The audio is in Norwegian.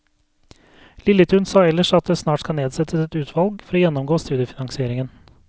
Lilletun sa ellers at det snart skal nedsettes et utvalg for å gjennomgå studiefinansieringen.